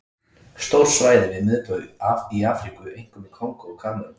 Stór svæði við miðbaug í Afríku, einkum í Kongó og Kamerún.